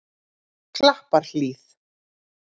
Klapparhlíð